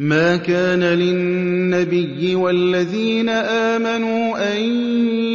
مَا كَانَ لِلنَّبِيِّ وَالَّذِينَ آمَنُوا أَن